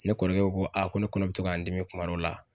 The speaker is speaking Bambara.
Ne kɔrɔkɛ ko ko ko ne kɔnɔ bɛ to ka n dimi kuma dɔw la